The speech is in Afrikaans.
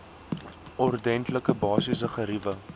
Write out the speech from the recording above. ordentlike basiese geriewe